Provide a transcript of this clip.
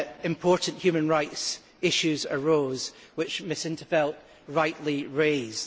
Important human rights issues arose, which Ms in t Veld rightly raised.